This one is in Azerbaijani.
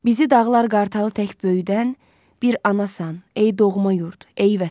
Bizi dağlar qartalı tək böyüdən, bir anasan ey doğma yurd, ey vətən.